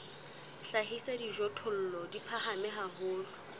hlahisa dijothollo di phahame haholo